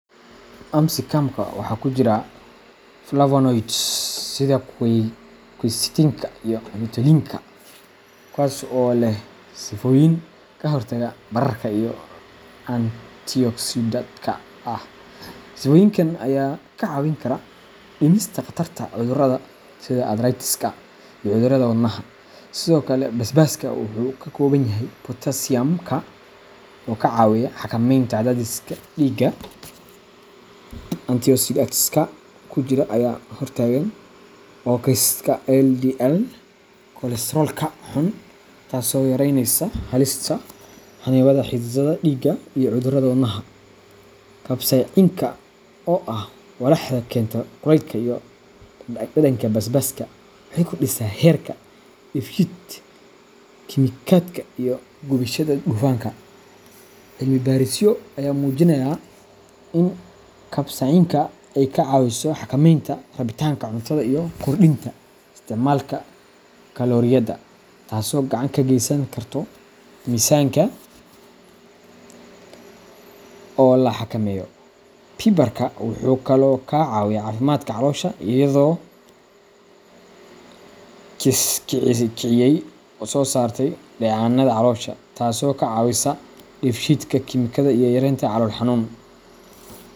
Apsicumka waxaa ku jira flavonoids sida quercetinka iyo luteolinka, kuwaas oo leh sifooyin ka hortagga bararka iyo antioxidantka ah. Sifooyinkan ayaa ka caawin kara dhimista khatarta cudurrada sida arthritiska iyo cudurrada wadnaha. Sidoo kale, basbaaska wuxuu ka kooban yahay potassium, oo ka caawiya xakameynta cadaadiska dhiigga. Antioxidantska ku jira ayaa ka hortagaan oksaydhka LDL kolestaroolka xun, taasoo yareynaysa halista xannibaadda xididdada dhiigga iyo cudurrada wadnaha. Capsaicinka, oo ah walaxda keenta kulaylka iyo dhadhanka basbaaska, waxay kordhisaa heerka dheefshiid kiimikaadka iyo gubashada dufanka. Cilmibaarisyo ayaa muujinaya in capsaicinka ay ka caawiso xakameynta rabitaanka cuntada iyo kordhinta isticmaalka kalooriyada, taasoo gacan ka geysan karta miisaanka oo la xakameeyo. Pepperka wuxuu kaloo ka caawiyaa caafimaadka caloosha, iyadoo kiciyey soo saarista dheecaannada caloosha, taasoo ka caawisa dheefshiid kiimikaadka iyo yareynta calool xanuun.